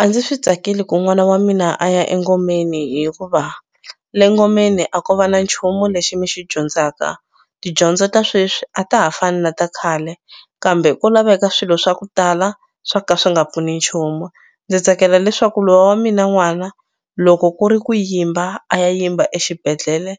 A ndzi swi tsakeli ku n'wana wa mina a ya engomeni hikuva le ngomeni a ko va na nchumu lexi mi xi dyondzaka tidyondzo ta sweswi a ta ha fani na ta khale kambe ko laveka swilo swa ku tala swo ka swi nga pfuni nchumu ndzi tsakela leswaku lowa mina n'wana loko ku ri ku yimba a ya yimba exibedhlele